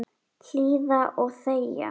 Hlýða og þegja.